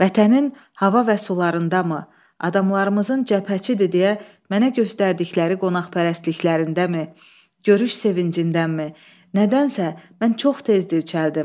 Vətənin hava və sularındamı, adamlarımızın cəbhəçidir deyə mənə göstərdikləri qonaqpərvərliklərindəmi, görüş sevincindəmi, nədənsə, mən çox tez dirçəldim.